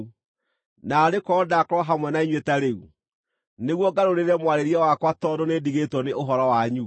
naarĩ korwo ndakorwo hamwe na inyuĩ ta rĩu, nĩguo ngarũrĩre mwarĩrie wakwa tondũ nĩndigĩtwo nĩ ũhoro wanyu!